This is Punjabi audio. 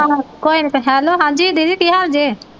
ਆਹੋ ਕੋਈ ਨਾ ਤੇ ਹੈਲੋ ਹਾਂਜੀ ਦੀਦੀ ਕੀ ਹਾਲ ਜੇ।